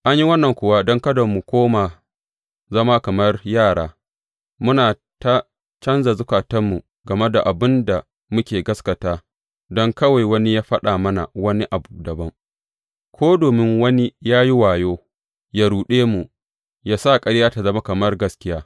An yi wannan kuwa don kada mu koma zama kamar yara, muna ta canja zukatanmu game da abin da muka gaskata don kawai wani ya faɗa mana wani abu dabam, ko domin wani ya yi wayo ya ruɗe mu, ya sa ƙarya ta zama kamar gaskiya.